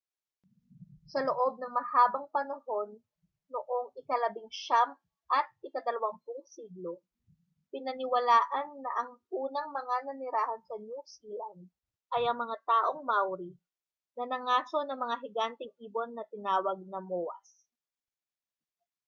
sa loob ng mahabang panahon noong ikalabinsiyam at ikadalawampung siglo pinaniwalaan na ang unang mga nanirahan sa new zealand ay ang mga taong maori na nangaso ng mga higanteng ibon na tinawag na moas